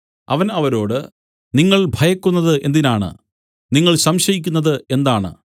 അവൻ അവരോട് നിങ്ങൾ ഭയക്കുന്നതു എന്തിനാണ് നിങ്ങൾ സംശയിക്കുന്നത് എന്താണ്